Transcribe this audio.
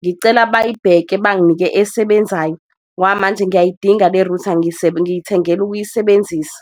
Ngicela bayibheke banginike esebenzayo ngoba manje ngiyayidinga le-router ngiyithengela ukuyisebenzisa.